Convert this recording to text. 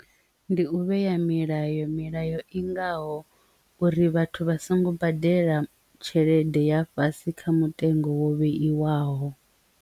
Ndi u vhea milayo, milayo i ngaho uri vhathu vha songo badela tshelede ya fhasi kha mutengo wo vheiwaho.